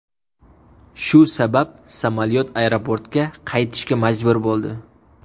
Shu sabab samolyot aeroportga qaytishga majbur bo‘ldi.